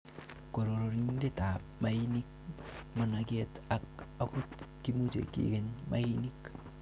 Kororonindab maainik, managet ak angot kimuche kikeny mainik.